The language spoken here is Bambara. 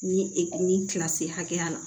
Ni ni kilasi hakɛya la